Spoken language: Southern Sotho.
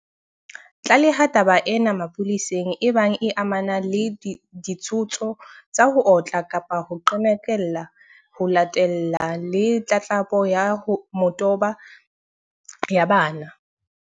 Tlaleha taba ena mapoleseng ebang e amana le ditshoso tsa ho otla kapa ho qhekella, ho latella le tlatlapo ya motabo ya bana.